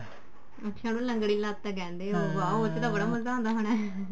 ਅੱਛਾ ਉਹਨੂੰ ਲੰਗੜੀ ਲੱਤ ਕਹਿੰਦੇ ਹੋ ਉਹ ਚ ਤਾਂ ਬੜਾ ਮਜ਼ਾ ਆਉਂਦਾ ਹੋਣਾ